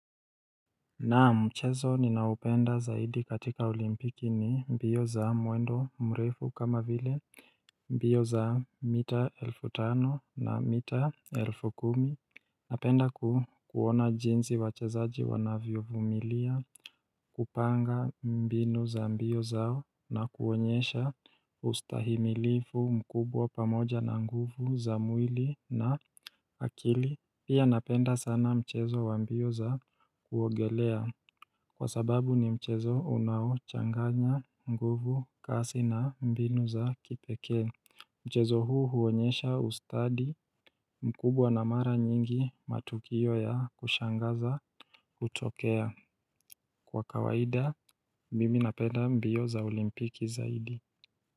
Naam, mchezo ninaupenda zaidi katika olimpiki ni mbio za mwendo mrefu kama vile mbio za mita elfu tano na mita elfu kumi. Napenda kuona jinsi wachezaji wanavyo vumilia kupanga mbinu za mbio zao na kuonyesha ustahimilifu mkubwa pamoja na nguvu za mwili na akili. Pia napenda sana mchezo wa mbio za kuongelea Kwa sababu ni mchezo unaochanganya, nguvu, kasi na mbinu za kipeke Mchezo huu huonyesha ustadi mkubwa na mara nyingi matukio ya kushangaza hutokea. Kwa kawaida, mimi napenda mbio za olimpiki zaidi.